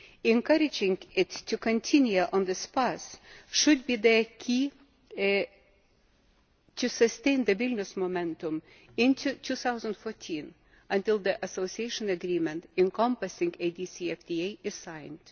Encouraging it to continue on this path should be the key to sustaining the Vilnius momentum into 2014, until the Association Agreement encompassing a DCFTA is signed.